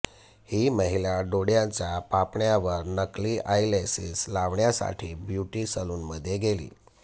ही महिला डोळ्यांच्या पापण्यांवर नकली आयलॅशेस लावण्यासाठी ब्युटी सलूनमध्ये गेली